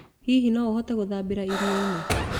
Hihi no ũhote gũthambĩra iria-inĩ?